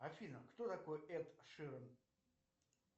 афина кто такой эд ширан